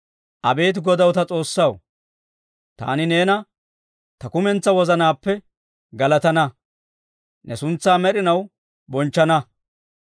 Abeet Godaw ta S'oossaw, taani neena, ta kumentsaa wozanaappe galatana. Ne suntsaa med'inaw bonchchana.